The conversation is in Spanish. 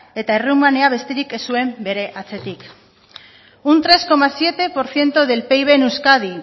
eta errumania besterik ez zuen bere atzetik un tres coma siete por ciento del pib en euskadi